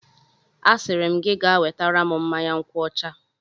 Asịrị m gị gaa wetara m mmanya nkwuọcha!